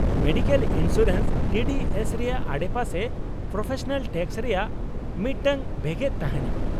Medical insurance, TDS ᱨᱮᱭᱟᱜ ᱟᱰᱮᱯᱟᱥᱮ professional tax ᱨᱮᱭᱟᱜ ᱢᱤᱫᱴᱟᱝ ᱵᱷᱮᱜᱮᱫ ᱛᱟᱦᱮᱸᱱᱟ ᱾